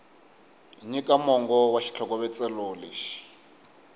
nyika mongo wa xitlhokovetselo lexi